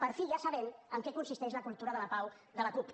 per fi ja sabem en què consisteix la cultura de la pau de la cup